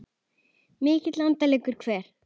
Milli landa liggur ver.